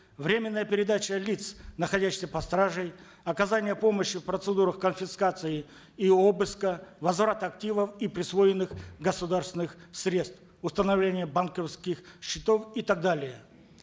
временная передача лиц находящихся под стражей оказание помощи в процедурах конфискации и обыска возврат активов и присвоенных государственных средств установление банковских счетов и так далее